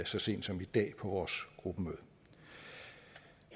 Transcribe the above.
så sent som i dag på vores gruppemøde